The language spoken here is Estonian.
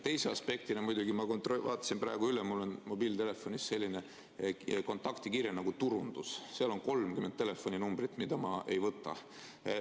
Teise aspektina muidugi, ma vaatasin praegu üle, mul on mobiiltelefonis selline kontaktikirje nagu turundus, seal on 30 telefoninumbrit, mida ma vastu ei võta.